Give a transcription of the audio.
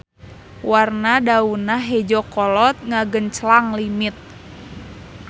Warna daunna hejo kolot ngagenclang limit.